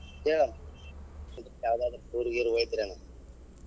ಹೇಳ್ ಇದು ಯಾವದಾದ್ರು ಊರಿಗೆ ಗೀರಿಗೆ ಹೋಗಿದ್ರೇನ್.